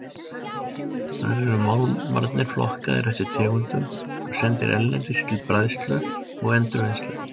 Þar eru málmarnir flokkaðir eftir tegundum og sendir erlendis til bræðslu og endurvinnslu.